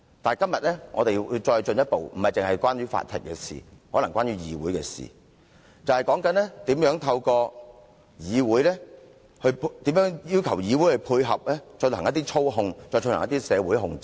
但今天更進一步，不僅是關於法庭的事情，可能是關於議會的事情，便是如何透過要求議會配合來進行一些社會操控和社會控制。